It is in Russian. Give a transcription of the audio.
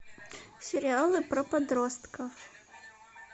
сериалы про подростков